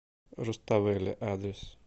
руставели адрес